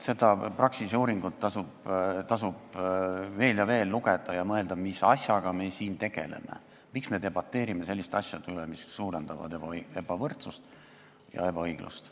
Seda Praxise uuringut tasub veel ja veel lugeda ning mõelda, mis asjaga me siin tegeleme, miks me debateerime selliste asjade üle, mis suurendavad ebavõrdsust ja ebaõiglust.